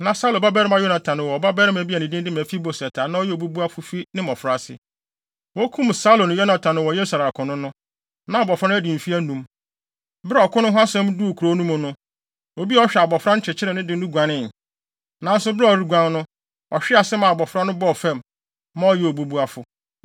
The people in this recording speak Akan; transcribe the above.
Na Saulo babarima Yonatan wɔ ɔbabarima bi a ne din de Mefiboset a na ɔyɛ obubuafo fi ne mmofraase. Wokum Saulo ne Yonatan wɔ Yesreel akono no, na abofra no adi mfe anum. Bere a ɔko no ho asɛm duu kurow no mu no, obi a ɔhwɛ abofra no kyekyeree no de no guanee. Nanso bere a ɔreguan no, ɔhwee ase maa abofra no bɔɔ fam, ma ɔyɛɛ obubuafo.